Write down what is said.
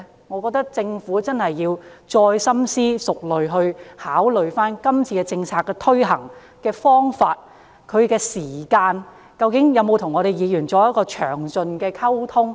我覺得政府真的要再深思熟慮，今次推行政策的方法和時間，有否與議員仔細溝通？